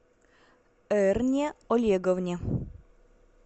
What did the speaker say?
эрне олеговне